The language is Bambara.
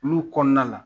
Olu kɔnɔna la